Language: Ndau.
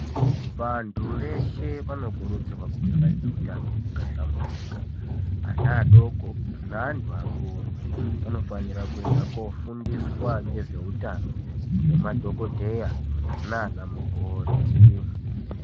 Vantu veshe vanokurudzirwa kunge vane hutano hwakahlamburika ana adoko ngeantu akuru anofanira kuenda kofundiswa ngezvehutano nemadhokodheya nana mukoti.